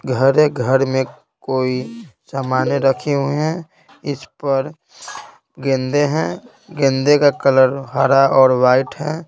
घरे घर में कोई सामान रखी हुई हैं इस पर गेंदे हैं गेंदे का कलर हारा और वाइट है।